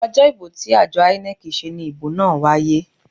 Ojo ibo ti ajo INEC se ni ibo naa waye.